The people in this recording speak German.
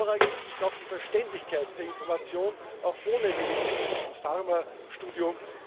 Vorrangig ist zudem die Verständlichkeit der Information, auch ohne Medizin und Pharmastudium.